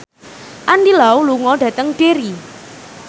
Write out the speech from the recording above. Andy Lau lunga dhateng Derry